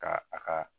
Ka a ka